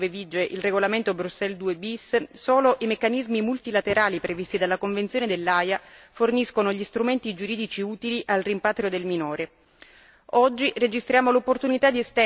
Al di fuori dei rapporti tra Stati membri dell'Unione, dove vige il regolamento Bruxelles II bis, solo i meccanismi multilaterali previsti dalla Convenzione dell'Aia forniscono gli strumenti giuridici utili al rimpatrio del minore.